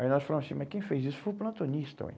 Aí nós falamos assim, mas quem fez isso foi o plantonista, ué.